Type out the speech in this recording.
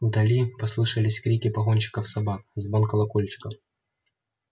вдали послышались крики погонщиков собак звон колокольчиков